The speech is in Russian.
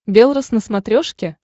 белрос на смотрешке